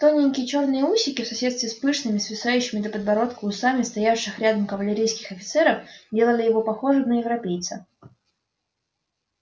тоненькие чёрные усики в соседстве с пышными свисающими до подбородка усами стоявших рядом кавалерийских офицеров делали его похожим на европейца